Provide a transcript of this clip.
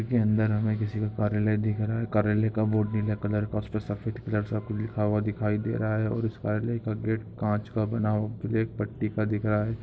इसके अंदर हमें किसी की का कार्यलय दिख रहा है कार्यालय का बोर्ड नीला कलर सा पास में सफ़ेद कलर का लिखा हुआ दिखाई दे रहा है ओर पास का गेट काँच का बना हुआ ब्लैक पट्टी का दिख रहा है।